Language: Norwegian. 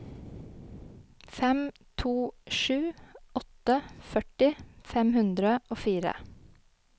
fem to sju åtte førti fem hundre og fire